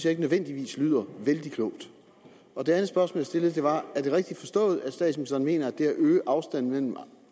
ikke nødvendigvis lyder vældig klogt det andet spørgsmål jeg stillede var er det rigtigt forstået at statsministeren mener at det at øge afstanden mellem